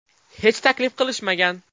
Hech taklif qilishmagan.